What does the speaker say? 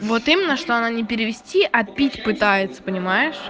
вот именно что она не перевести а пить пытается понимаешь